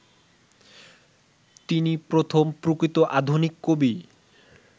তিনি প্রথম প্রকৃত আধুনিক কবি